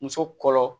Muso kɔlɔ